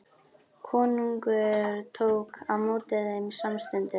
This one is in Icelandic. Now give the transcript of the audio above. Konungur tók á móti þeim samstundis.